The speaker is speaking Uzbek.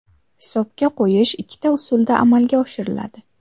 Hisobga qo‘yish ikkita usulda amalga oshiriladi.